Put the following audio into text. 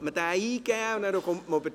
Dann könnte man diesen eingeben.